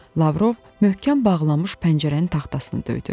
Lavrov möhkəm bağlanmış pəncərənin taxtasını döydü.